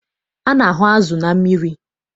A na-ahụ azụ na mmiri.